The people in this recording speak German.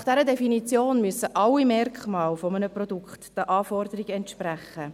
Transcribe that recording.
Nach dieser Definition müssen alle Merkmale eines Produkts den Anforderungen entsprechen.